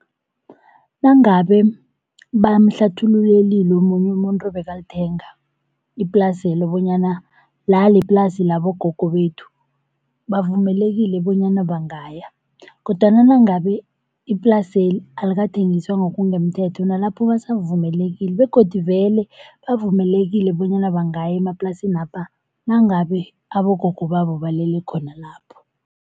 Nangabe bamhlathululelile omunye umuntu bekalithenga iplaselo bonyana la ieplasi labogogo bethu, bavumelekile bonyana bangaya. Kodwana nangabe iplaseli alikathengiswa ngokungemthetho nalapho basavumelekile begodu vele bavumelekile bonyana bangaya emaplasinapha nangabe abogogo babo balele khona lapho.